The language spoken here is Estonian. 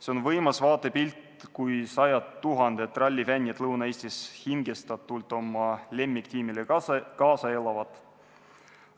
See on võimas vaatepilt, kui sajad tuhanded rallifännid Lõuna-Eestis hingestatult oma lemmiktiimile kaasa elavad.